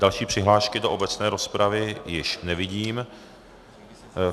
Další přihlášky do obecné rozpravy již nevidím.